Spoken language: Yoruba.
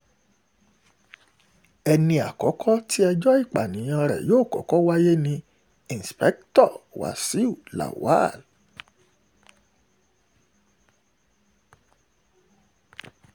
ẹni àkọ́kọ́ nínú wọn tí ẹjọ́ ìpànìyàn rẹ̀ yóò kọ́kọ́ wáyé ní indikítọ́ wàṣíù lawal